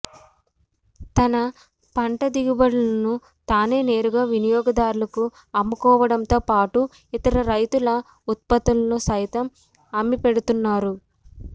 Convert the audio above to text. తన పంట దిగుబడులను తానే నేరుగా వినియోగదారులకు అమ్ముకోవటంతో పాటు ఇతర రైతుల ఉత్పత్తులను సైతం అమ్మిపెడుతున్నారు